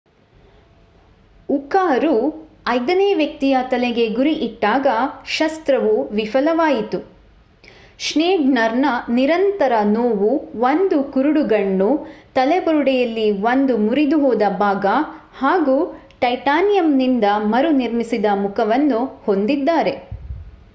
ಉಕಾರು ಐದನೇ ವ್ಯಕ್ತಿಯ ತಲೆಗೆ ಗುರಿ ಇಟ್ಟಾಗ ಶಸ್ತ್ರವು ವಿಫಲವಾಯಿತು. ಶ್ನೇಯ್ಡರ್ ನಿರಂತರ ನೋವು 1 ಕುರುಡುಗಣ್ಣು ತಲೆಬುರಡೆಯಲ್ಲಿ ಒಂದು ಮುರಿದಹೋದ ಭಾಗ ಹಾಗೂ ಟೈಟಾನಿಯಂನಿಂದ ಮರುನಿರ್ಮಿಸಿದ ಮುಖವನ್ನು ಹೊಂದಿದ್ದಾರೆ